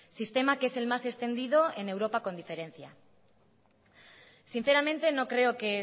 sistema que es el más extendido en europa con diferencia sinceramente no creo que